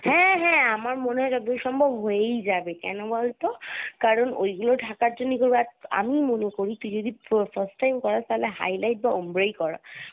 হ্যা হ্যা আমার মনে হয় যতদূর সম্ভব হয়েই যাবে কেন বলতো কারণ ঐগুলো ঢাকার জন্য আমিই মনে করি তুই যদি fir~first time করাস তালে highlight বা ombre ই করা